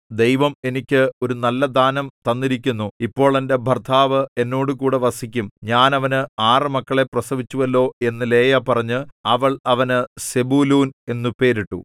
ദൈവം എനിക്ക് ഒരു നല്ലദാനം തന്നിരിക്കുന്നു ഇപ്പോൾ എന്റെ ഭർത്താവ് എന്നോടുകൂടെ വസിക്കും ഞാൻ അവന് ആറ് മക്കളെ പ്രസവിച്ചുവല്ലോ എന്നു ലേയാ പറഞ്ഞ് അവൾ അവന് സെബൂലൂൻ എന്നു പേരിട്ടു